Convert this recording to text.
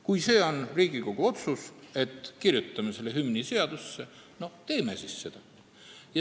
Kui see on Riigikogu otsus, et kirjutame hümni seadusesse, teeme siis seda.